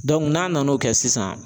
n'a nana o kɛ sisan